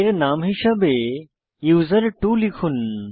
এর নাম হিসাবে ইউজার্টও লিখুন